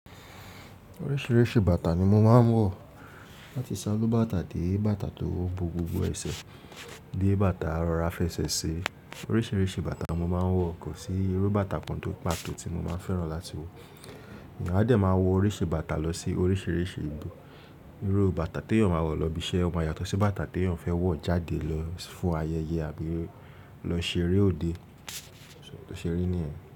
Oríṣiríṣi bàtà ni mo máa ń wọ̀. Láti ṣálú bàtà dé bàtà tó bo gbogbo ẹsẹ̀, dé bàtà rọra fẹsẹ̀ ṣe. Oríṣiríṣi bàtà mo máa ń wọ̀ kò sí irú bàtà kan tó pàtó tí mo máa fẹ́ràn láti wọ̀. Èèyàn á dẹ̀ máa wọ oríṣi bàtà lọ sí oríṣiríṣi ibi. Irú bàtà tí èèyàn máa wọ̀ lọ ibi iṣẹ́ máa yàtọ̀ sí bàtà tí èèyàn fẹ́ wọ̀ jáde lọ fún ayẹyẹ àbí lọ ṣe eré òde. Tó ṣe rí ní ẹ̀?